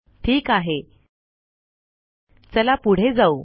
ठीक आहे चला पुढे जाऊ